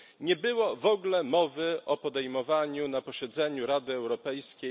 Nie było w ogóle mowy o podejmowaniu na posiedzeniu Rady Europejskiej....